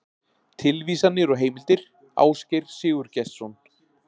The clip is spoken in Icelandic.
Tilvísanir og heimildir: Ásgeir Sigurgestsson.